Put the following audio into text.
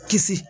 Kisi